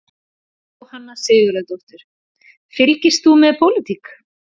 Jóhanna Sigurðardóttir: Fylgist þú með pólitík?